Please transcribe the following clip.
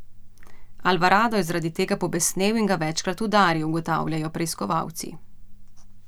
Alvarado je zaradi tega pobesnel in ga večkrat udaril, ugotavljajo preiskovalci.